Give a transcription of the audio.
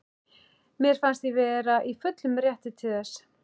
Mér fannst ég vera í fullum rétti til þess.